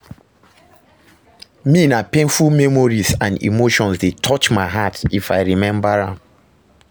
Me, na painful memories and emotions dey touch my heart if i remember am.